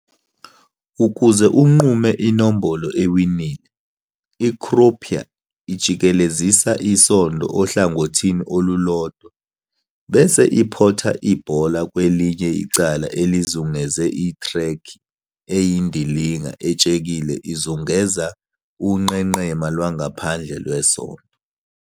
Ukuze unqume inombolo ewinile, i-croupier ijikelezisa isondo ohlangothini olulodwa, bese iphotha ibhola kwelinye icala elizungeze ithrekhi eyindilinga etshekile ezungeza unqenqema lwangaphandle lwesondo.